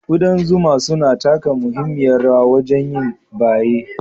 Ƙudan zuma suna taka muhimmiyar rawa wajen yin baye,